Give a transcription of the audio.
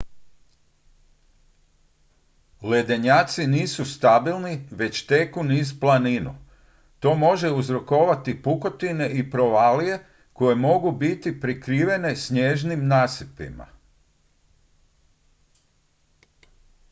ledenjaci nisu stabilni već teku niz planinu to može uzrokovati pukotine i provalije koje mogu biti prikrivene snježnim nasipima